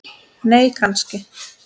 nei kannski